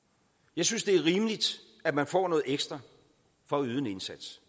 jeg synes det er rimeligt at man får noget ekstra for at yde en indsats